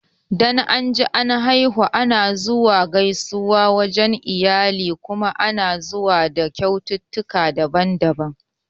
Dan anji an haihu lafiya ana zuwa gaisuwa wajan iyali kuma ana zuwa da kyaututtukan daban-daban